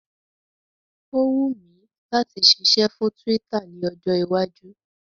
Ó wùn mi láti ṣiṣẹ́ fún Twitter ní ọjọ́ iwájú